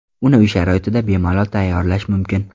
Uni uy sharoitida bemalol tayyorlash mumkin.